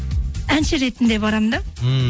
әнші ретінде барамын да ммм